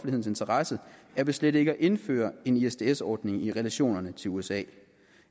interesse er ved slet ikke at indføre en isds ordning i relationerne til usa